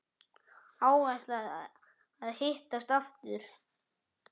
Áætlað að hittast aftur?